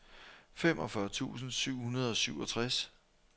femogfyrre tusind syv hundrede og syvogtres